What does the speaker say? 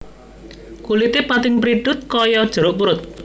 Kulite pating prithut kaya jeruk purut